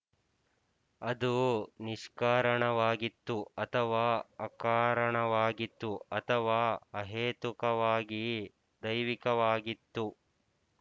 ಅದು ನಿಷ್ಕಾರಣವಾಗಿತ್ತು ಅಥವಾ ಅಕಾರಣವಾಗಿತ್ತು ಅಥವಾ ಅಹೇತುಕವಾಗಿ ದೈವಿಕವಾಗಿತ್ತು